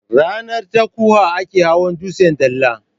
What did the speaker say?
Ranar Takutaha ake hawan dutsen dala.